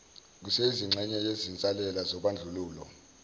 kuseyingxenye yezinsalela zobandlululo